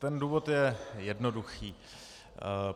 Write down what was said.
Ten důvod je jednoduchý.